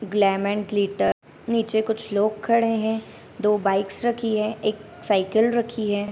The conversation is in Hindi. ग्लैमर ग्लिटर नीचे कुछ लोग खड़े हैं दो बाइक्स रखी हैं एक साइकिल रखी है।